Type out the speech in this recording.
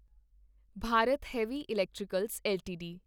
Bharat heavy electricals LTD